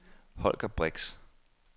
Holger Brix